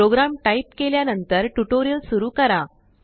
programme type केल्यानंतरटुटोरिअल सुरु करा